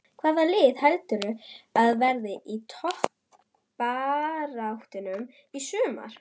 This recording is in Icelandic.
Hvaða lið heldurðu að verði í toppbaráttunni í sumar?